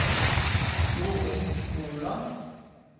Jorun Moland